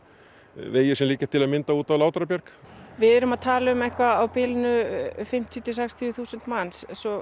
vegir sem liggja til að mynda út á Látrabjarg við erum að tala um eitthvað á bilinu fimmtíu til sextíu þúsund manns